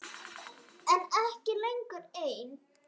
En ekki lengur ein.